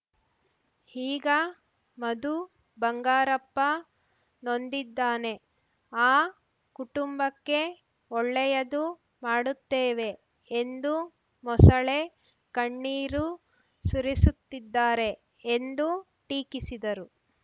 ಈಗ ಮಧು ಬಂಗಾರಪ್ಪ ನೊಂದಿದ್ದಾನೆ ಆ ಕುಟುಂಬಕ್ಕೆ ಒಳ್ಳೆಯದು ಮಾಡುತ್ತೇವೆ ಎಂದು ಮೊಸಳೆ ಕಣ್ಣೀರು ಸುರಿಸುತ್ತಿದ್ದಾರೆ ಎಂದು ಟೀಕಿಸಿದರು